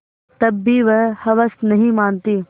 तब भी हवस नहीं मानती